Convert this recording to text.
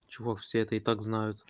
чувак все это и так